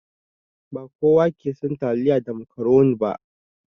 Ba kowa ke son taliya da macaroni ba.